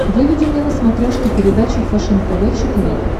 выведи мне на смотрешке передачу фэшен тв четыре к